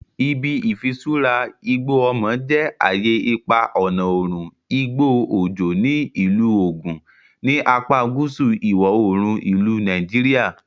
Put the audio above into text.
Ibi Ifisura Igbo Omo je aye ipa ọna oorun igbo ojo ni Ilu Ogun, ni apa guusu iwọ-oorun ilu Nigeria.